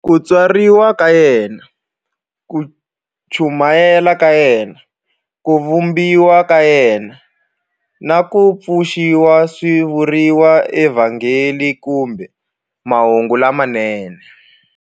Ku tswariwa ka yena, ku chumayela ka yena, ku vambiwa ka yena, na ku pfuxiwa swi vuriwa eVhangeli kumbe"Mahungu lamanene".